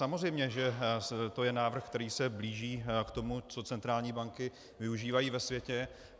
Samozřejmě že to je návrh, který se blíží k tomu, co centrální banky využívají ve světě.